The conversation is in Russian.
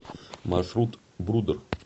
маршрут брудер